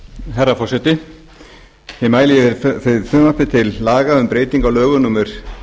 herra forseti ég mæli fyrir frumvarpi til laga um breytingu á lögum númer